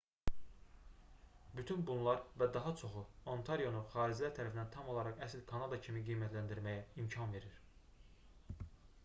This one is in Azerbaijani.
bütün bunlar və daha çoxu ontarionu xaricilər tərəfindən tam olaraq əsl kanada kimi qiymətləndirməyə imkan verir